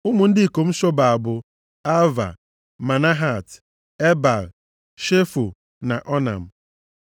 Ụmụ ndị ikom Shobal bụ, Alvan, Manahat, Ebal, Shefo na Onam.